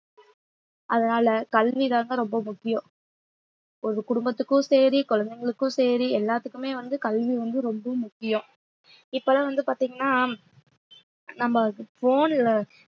அதனால கல்விதாங்க ரொம்ப முக்கியம் ஒரு குடும்பத்துக்கும் சரி குழந்தைகளுக்கும் சரி எல்லாத்துக்குமே வந்து கல்வி வந்து ரொம்ப முக்கியம் இப்பெல்லாம் வந்து பாத்தீங்கன்னா நம்ம phone ல